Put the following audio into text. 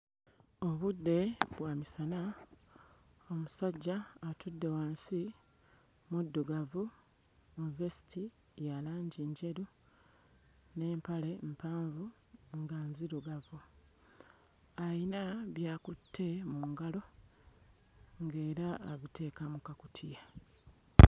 Obudde bwa misana, omusajja atudde wansi muddugavu mu vesiti ya langi njeru n'empale mpanvu nga nzirugavu, ayina by'akutte mu ngalo ng'era abiteeka mu kakutiya.